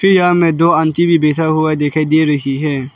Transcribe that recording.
यह हमें दो आंटी भी बैठा हुआ दिखाई दे रही है।